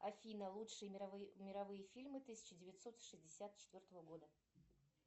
афина лучшие мировые фильмы тысяча девятьсот шестьдесят четвертого года